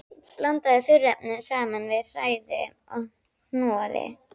Blandið þurrefnunum saman við, hrærið og hnoðið.